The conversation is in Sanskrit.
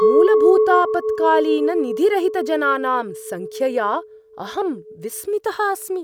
मूलभूतापत्कालीननिधिरहितजनानां सङ्ख्यया अहं विस्मितः अस्मि।